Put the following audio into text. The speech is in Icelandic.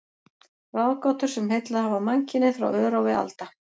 Ráðgátur, sem heillað hafa mannkynið frá örófi alda.